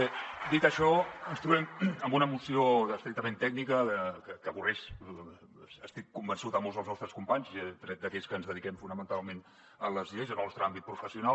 bé dit això ens trobem amb una moció estrictament tècnica que avorreix n’estic convençut molts dels nostres companys tret d’aquells que ens dediquem fonamentalment a les lleis en el nostre àmbit professional